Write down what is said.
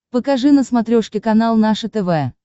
покажи на смотрешке канал наше тв